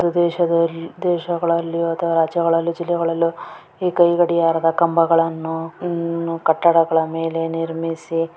ದೇಶದಲ್ಲಿ ದೇಶಗಳಲ್ಲಿ ಅಥವಾ ರಾಜ್ಯಗಳಲ್ಲಿ ಜಿಲ್ಲೆಗಳಲ್ಲೂ ಈ ಕೈ ಗಡಿಯಾರದ ಕಂಬಗಳನ್ನು ಕಟ್ಟಡದ ಮೇಲೆ ನಿರ್ಮಿಸಿ--